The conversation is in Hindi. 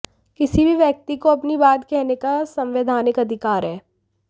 किसी भी व्यक्ति को अपनी बात कहने का संवैधानिक अधिकार है